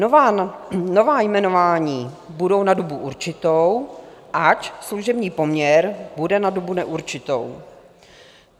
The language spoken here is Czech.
Nová jmenování budou na dobu určitou, ač služební poměr bude na dobu neurčitou.